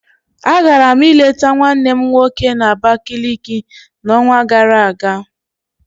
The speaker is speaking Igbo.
Agara m ịleta nwannem nwoke na Abakaliki n'onwa gara aga